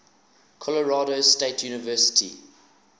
colorado state university